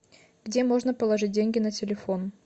где можно положить деньги на телефон